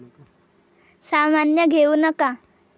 सामान्य घेऊ नका.